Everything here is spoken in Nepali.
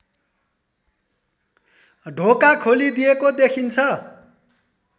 ढोका खोलिदिएको देखिन्छ